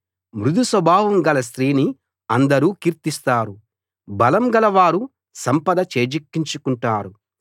మృదు స్వభావం గల స్త్రీని అందరూ కీర్తిస్తారు బలం గలవారు సంపద చేజిక్కుంచుకుంటారు